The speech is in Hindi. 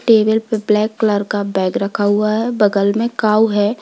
टेबल पर ब्लैक कलर का बैग रखा हुआ है बगल में काऊ है।